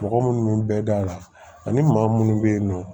Mɔgɔ munnu bɛɛ da la ani maa munnu be yen nɔn